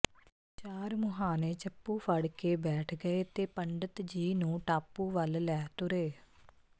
ਚਾਰ ਮੁਹਾਣੇ ਚਪੂ ਫੜਕੇ ਬੈਠ ਗਏ ਤੇ ਪੰਡਤ ਜੀ ਨੂੰ ਟਾਪੂ ਵਲ ਲੈ ਤੁਰੇ